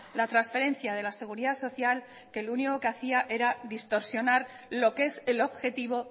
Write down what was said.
la transferencia de la seguridad social que lo único que hacía era distorsionar lo que es el objetivo